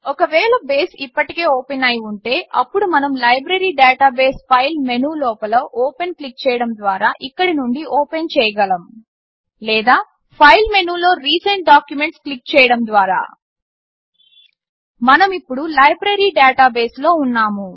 ఒకవేళ బేస్ ఇప్పటికే ఓపెన్ అయి ఉంటే అప్పుడు మనము లైబ్రరి డాటాబేస్ ఫైల్ మెనులోపల ఓపెన్ క్లిక్ చేయడం ద్వారా ఇక్కడి నుండి ఓపెన్ చేయగలము లేదా ఫైల్ మెనులో రీసెంట్ డాక్యుమెంట్స్ క్లిక్ చేయడం ద్వారా మనమిప్పుడు లైబ్రరి డాటాబేస్లో ఉన్నాము